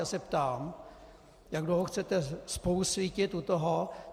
Já se ptám, jak dlouho chcete spolusvítit u toho!